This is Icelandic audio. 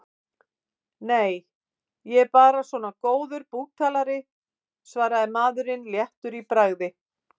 Nei, ég er bara svona góður búktalari, svaraði maður léttur í bragði.